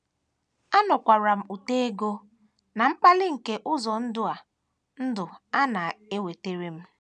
“ Anụkwara m ụtọ ego na mkpali nke ụzọ ndụ a ndụ a na - ewetara m.